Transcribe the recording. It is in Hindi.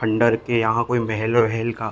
खंडर के यहाँ कोई महलों और हेल का --